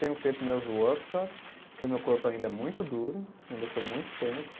Tenho feito meus workshops, porque o meu corpo ainda é muito duro, ainda sou muito tenso.